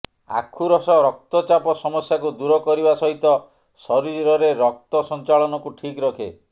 ଆଖୁ ରସ ରକ୍ତଚାପ ସମସ୍ୟାକୁ ଦୂର କରିବା ସହିତ ଶରୀରରେ ରକ୍ତ ସଞ୍ଚାଳନକୁ ଠିକ୍ ରଖେ